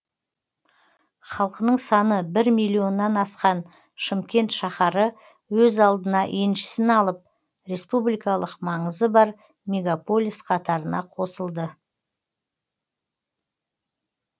халқының саны бір миллионнан асқан шымкент шаһары өз алдына еншісін алып республикалық маңызы бар мегаполис қатарына қосылды